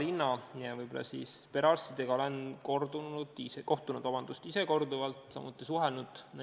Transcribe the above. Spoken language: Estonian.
Narva linna perearstidega olen ise korduvalt kohtunud ja suhelnud.